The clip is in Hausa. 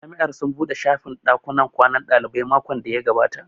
Jami'ar sun buɗe shafin ɗakunnan kwanan ɗalibai makon da ya gabata